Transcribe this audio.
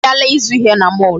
Ha abịala ịzụ ihe na mall.